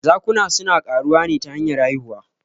Zakuna suna ƙaruwa ne ta hanyar haihuwa.